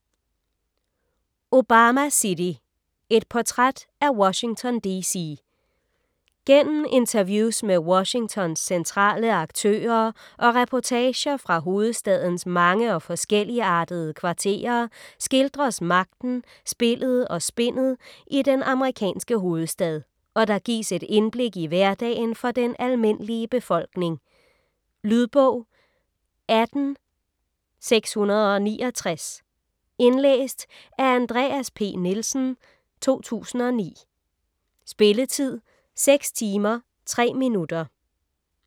Obama City: et portræt af Washington DC Gennem interviews med Washingtons centrale aktører og reportager fra hovedstadens mange og forskelligartede kvarterer skildres magten, spillet og spindet i den amerikanske hovedstad, og der gives et indblik i hverdagen for den almindelige befolkning. Lydbog 18669 Indlæst af Andreas P. Nielsen, 2009. Spilletid: 6 timer, 3 minutter.